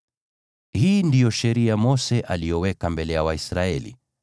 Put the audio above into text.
Hii ndiyo sheria Mose aliyoweka mbele ya Waisraeli.